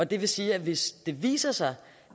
det vil sige at hvis det viser sig